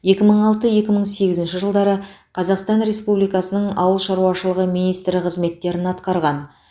екі мың алты екі мың сегізінші жылдары қазақстан республикасының ауыл шаруашылығы министрі қызметтерін атқарған